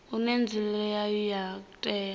une nzulele yawo ya katela